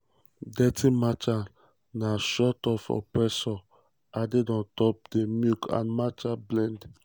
dirty matcha na shot of espresso added on top of di milk and matcha blend.